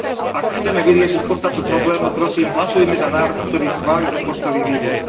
Ak chceme vyriešiť podstatu problému, prosím, hlasujme za návrh, ktorý schválil rozpočtový výbor.